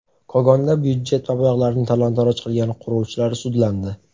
Kogonda byudjet mablag‘larini talon-taroj qilgan quruvchilar sudlandi.